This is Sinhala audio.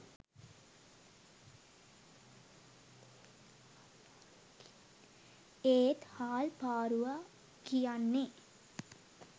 ඒත් හාල් පාරුවා කියන්නෙ